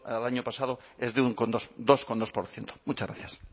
al año pasado es de un dos coma dos por ciento muchas gracias